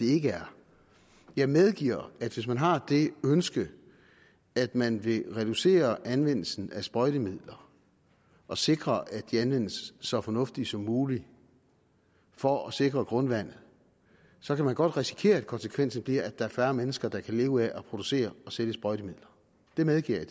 ikke er jeg medgiver at hvis man har det ønske at man vil reducere anvendelsen af sprøjtemidler og sikre at de anvendes så fornuftigt som muligt for at sikre grundvandet så kan man godt risikere at konsekvensen bliver at der er færre mennesker der kan leve af at producere og sælge sprøjtemidler det medgiver